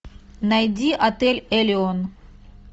найди отель элеон